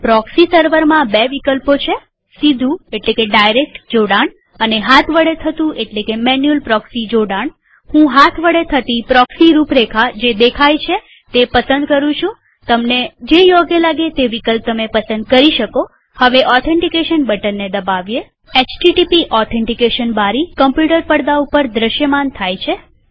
proxy સર્વરમાં બે વિકલ્પો છે સીધું જોડાણ અને હાથ વડે થતું પ્રોક્સી જોડાણહું હાથ વડે થતી પ્રોક્સી રૂપરેખા જે દેખાય છે તે પસંદ કરું છુંતમે તમને યોગ્ય લાગતું વિકલ્પ પસંદ કરી શકોહવે ઓથેન્ટીકેશન બટનને દબાવીએHTTP ઓથેન્ટીકેશન બારી કમ્પ્યુટર પડદા ઉપર દ્રશ્યમાન થાય છે